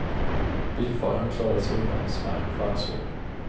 Bilföraren klarade sig undan med smärre skärsår.